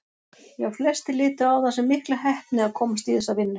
Já, flestir litu á það sem mikla heppni að komast í þessa vinnu.